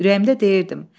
Ürəyimdə deyirdim.